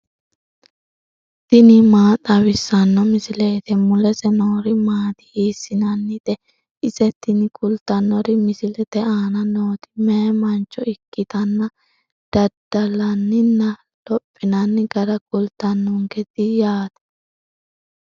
tini maa xawissanno misileeti ? mulese noori maati ? hiissinannite ise ? tini kultannori misilete aana nooti meyaa mancho ikkitanna daddallanninna lophinanni gara kultannonkete yaate.